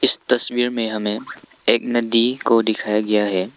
इस तस्वीर में हमे एक नदी को दिखाया गया है।